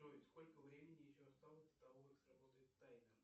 джой сколько времени еще осталось до того как сработает таймер